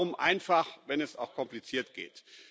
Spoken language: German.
Warum einfach, wenn es auch kompliziert geht!